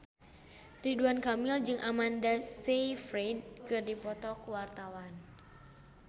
Ridwan Kamil jeung Amanda Sayfried keur dipoto ku wartawan